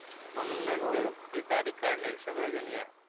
म्हणूनच ती तारीख काढली आहे सगळेजण या